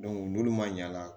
n'olu man ɲ'a la